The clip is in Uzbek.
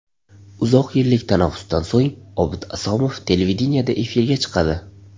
Uzoq yillik tanaffusdan so‘ng Obid Asomov televideniyeda efirga chiqadi.